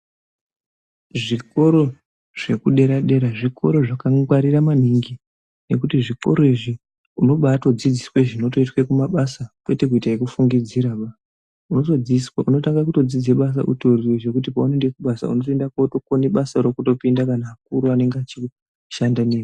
Zvikoro zvekudera-dera zvikoro zvakangwarira maningi. Nekuti zvikoro izvi unobaatodzidziswe zvinotoitwe kumabasa kwete kuita ekufungidziraba. Unotanga kutodzidze utoriyo zvekuti paunoende kubasa unotoinde kunokone basaro kutopinda kana akuru anenge achishanda newe.